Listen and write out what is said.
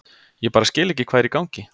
Ég bara skil ekki hvað er í gangi.